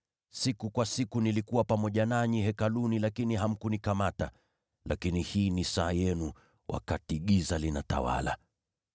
Siku kwa siku nilikuwa pamoja nanyi Hekaluni lakini hamkunikamata. Lakini hii ni saa yenu, wakati giza linatawala!”